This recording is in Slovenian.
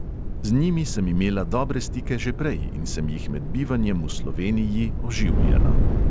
Z njimi sem imela dobre stike že prej in sem jih med bivanjem v sloveniji oživljala.